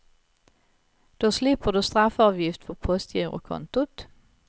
Då slipper du straffavgift på postgirokontot.